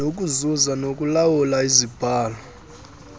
nokuzuza nokulawula izibhalo